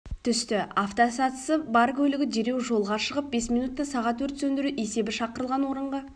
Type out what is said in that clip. түсті автосатысы бар көлігі дереу жолға шығып бес минутта сағат өрт сөндіру есебі шақырылған орынға